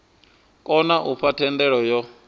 kona u fha thendelo yo